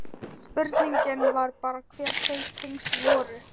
Spurningin var bara hver þau tengsl voru.